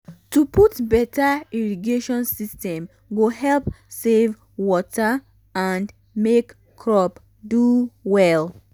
to put beta irrigation system um go um help save water and make um crop do well